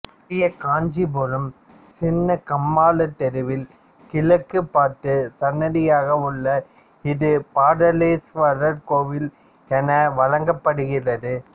பெரிய காஞ்சிபுரம் சின்னகம்மாளத் தெருவில் கிழக்கு பார்த்த சன்னதியாக உள்ள இது பாதாளேஸ்வரர் கோவில் என வழங்கப்படுகிறது